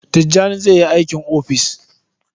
Tijjani zai yi aiki a ofis.